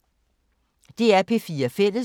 DR P4 Fælles